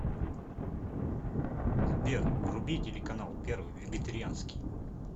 сбер вруби телеканал первый вегетарианский